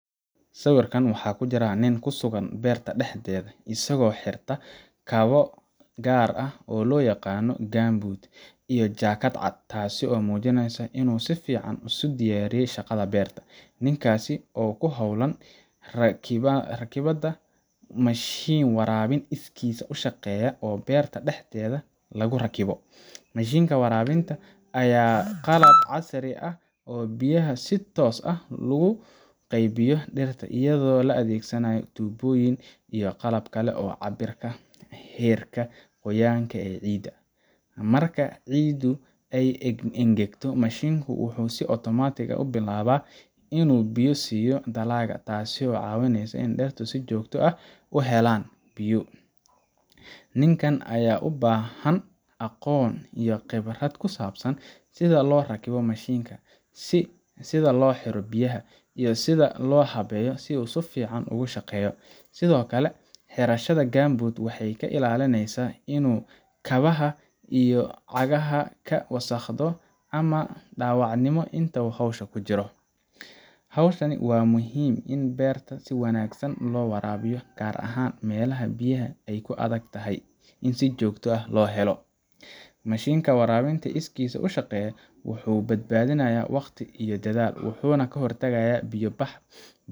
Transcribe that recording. Sawirkan waxaa ku jira nin ku sugan beerta dhexdeeda, isagoo xirta kabo gaar ah oo loo yaqaan gumboots iyo jakaad cad, taasoo muujinaysa inuu si fiican isu diyaariyey shaqada beerta. Ninkaasi waxa uu ku hawlan yahay rakibidda mashiin waraabin iskiis u shaqeeya oo beerta dhexdeeda lagu rakibo. Mashiinkan waraabinta ayaa ah qalab casri ah oo biyaha si toos ah ugu qaybiyo dhirta iyadoo la adeegsanayo tuubooyin iyo qalab kale oo cabbira heerka qoyaan ee ciidda. Marka ciiddu ay engegto, mashiinku wuxuu si otomaatig ah u bilaabaa inuu biyo siiyo dalagga, taasoo ka caawisa in dhirta si joogto ah u helaan biyo. Ninkan ayaa u baahan aqoon iyo khibrad ku saabsan sida loo rakibo mashiinkan, sida loo xiro biyaha, iyo sida loo habeeyo si uu si fiican ugu shaqeeyo. Sidoo kale, xirashada gumboots waxay ka ilaalinaysaa inuu kabaha iyo cagaha ka wasakhdo ama dhaawacmo inta uu hawsha ku jiro. Hawshan ayaa muhiim u ah in beeraha si wanaagsan loo waraabiyo, gaar ahaan meelaha biyaha ay ku adag tahay in si joogto ah loo helo. Mashiinka waraabinta iskiis u shaqeeya wuxuu badbaadiyaa waqti iyo dadaal, wuxuuna ka hortagaa biyo-bax.